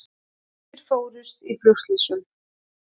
Tugir fórust í flugslysum